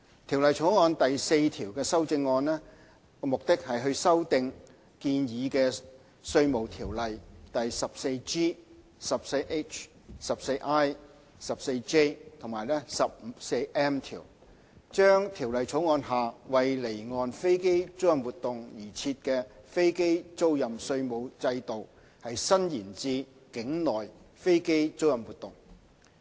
《條例草案》第4條的修正案，目的是修訂建議的《稅務條例》第 14G、14H、14I、14J 及 14M 條，將《條例草案》下為離岸飛機租賃活動而設的飛機租賃稅務制度，伸延至境內飛機租賃活動。